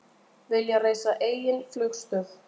Vilja reisa eigin flugstöð